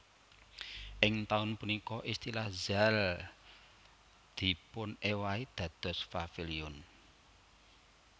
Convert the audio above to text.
Ing taun punika istilah Zaal dipunéwahi dados Paviliun